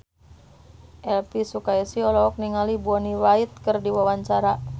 Elvy Sukaesih olohok ningali Bonnie Wright keur diwawancara